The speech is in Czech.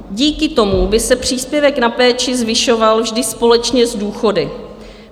Díky tomu by se příspěvek na péči zvyšoval vždy společně s důchody.